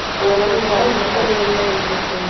அதனால எண்பதுகள்ல இருந்த style லு